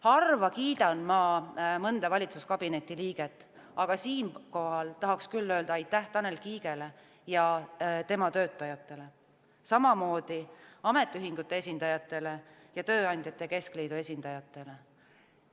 Harva kiidan ma mõnda valitsuskabineti liiget, aga siinkohal tahaks küll öelda aitäh Tanel Kiigele ja tema töötajatele, samamoodi ametiühingute esindajatele ja tööandjate keskliidu esindajatele.